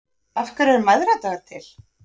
Af hverju er mæðradagur til?